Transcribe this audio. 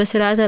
በስርአት